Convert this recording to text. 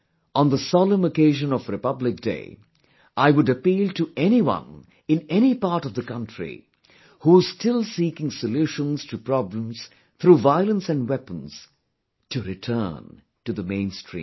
On the solemn occasion of Republic day, I would appeal to anyone in any part of the country, who's still seeking solutions to problems through violence and weapons, to return to the mainstream